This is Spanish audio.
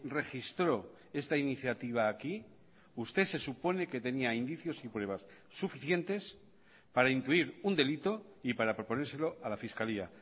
registró esta iniciativa aquí usted se supone que tenía indicios y pruebas suficientes para intuir un delito y para proponérselo a la fiscalía